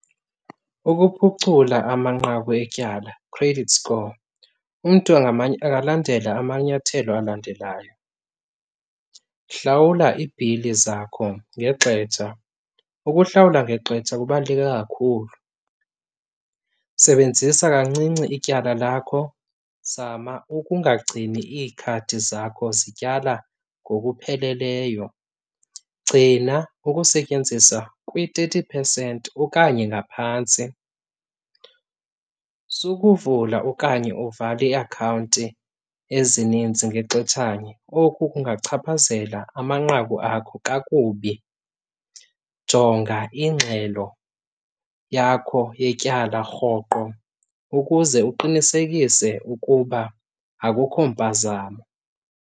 Ukuphucula amanqaku etyala, credit score, umntu angalandela amanyathelo alandelayo, hlawula ibhili zakho ngexetsha. Ukuhlawula ngexetsha kubaluleke kakhulu. Sebenzisa kancinci ityala lakho, zama ukungagcini iikhadi zakho zityala ngokupheleleyo. Gcina ukusetyenziswa kwi-thirty percent okanye ngaphantsi. Sukuvula okanye uvale iakhawunti ezininzi ngexetshanye, oku kungachaphazela amanqaku akho kakubi. Jonga ingxelo yakho yetyala rhoqo ukuze uqinisekise ukuba akukho mpazamo.